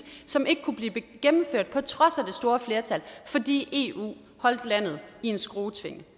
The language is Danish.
som ikke kunne blive gennemført på trods af det store flertal fordi eu holdt landet i en skruetvinge